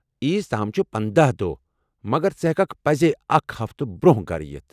عیز تام چھِ پندہَ دۄہ، مگر ژٕ ہیٚککھ پزی اکھ ہفتہٕ برونٛہہ گھرٕ یِتھ